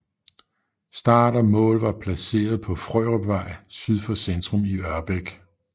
Start og mål var placeret på Frørupvej syd for centrum af Ørbæk